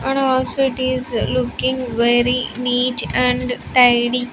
And also it is looking very neat and tidy.